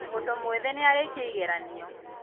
mũndũ mwĩthĩ nĩarĩkia igeranio